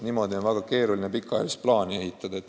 Niimoodi on väga keeruline pikaajalist plaani teha.